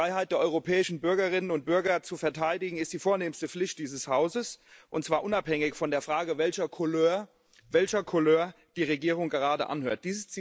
Die Freiheit der europäischen Bürgerinnen und Bürger zu verteidigen ist die vornehmste Pflicht dieses Hauses, und zwar unabhängig von der Frage, welcher Couleur die Regierung gerade angehört.